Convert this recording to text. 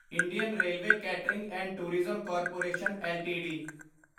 Indian railway catering and tourism corporation LTD